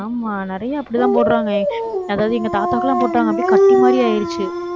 ஆமா நிறைய அப்படித்தான் போடறாங்க. அதாவது, எங்க தாத்தாக்கு எல்லாம் போட்டாங்க. அப்படியே கட்டி மாதிரி ஆயிருச்சு.